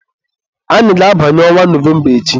Anyị ga-abanye ọnwa Nọvemba echi.